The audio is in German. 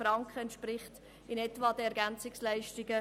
20 Franken entsprechen in etwa den Ergänzungsleistungen.